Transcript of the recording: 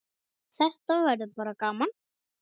Þetta verður bara gaman.